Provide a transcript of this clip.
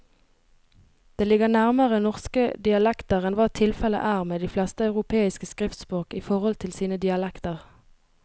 Det ligger nærmere norske dialekter enn hva tilfellet er med de fleste europeiske skriftspråk i forhold til sine dialekter.